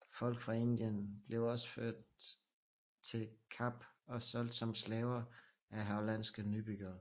Folk fra Indien blev også ført til Kap og solgt som slaver af hollandske nybyggere